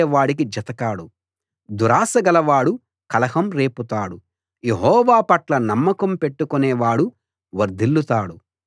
దురాశ గలవాడు కలహం రేపుతాడు యెహోవా పట్ల నమ్మకం పెట్టుకునే వాడు వర్ధిల్లుతాడు